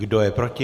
Kdo je proti?